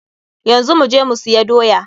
Yanzu mu je mu siya doya.